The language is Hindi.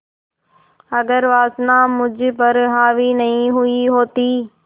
अगर वासना मुझ पर हावी नहीं हुई होती